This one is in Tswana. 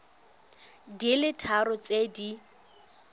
di le tharo tse di